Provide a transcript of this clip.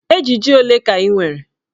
Ejiji ole ka ị nwere?